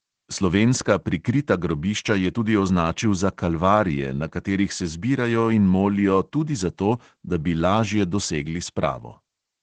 Slovenska prikrita grobišča je tudi označil za kalvarije, na katerih se zbirajo in molijo tudi zato, da bi lažje dosegli spravo.